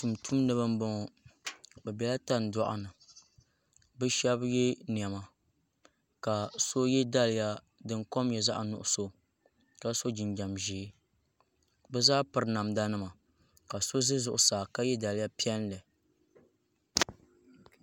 Tumtumdiba n boŋo bi biɛla tandoɣu ni bi shab yɛ niɛma ka so yɛ daliya din kom nyɛ zaɣ nuɣso ka so jinjɛm ʒiɛ bi zaa piri namda nima ka so ʒɛ zuɣusaa ka yɛ daliya piɛlli